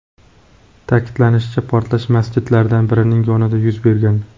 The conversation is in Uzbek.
Ta’kidlanishicha, portlash masjidlardan birining yonida yuz bergan.